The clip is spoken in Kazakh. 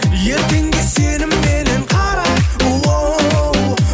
ертеңге сенімменен қара оу